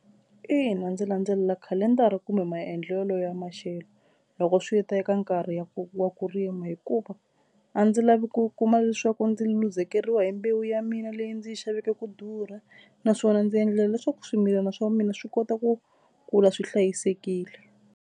Ina ndzi landzelela khalendara kumbe maendlelo ya maxelo loko swi ta eka nkarhi wa ku wa ku rima hikuva a ndzi lavi ku kuma leswaku ndzi luzekeriwa hi mbewu ya mina leyi ndzi yi xaveke ku durha naswona ndzi endlela leswaku swimilana swa mina swi kota ku kula swi hlayisekile.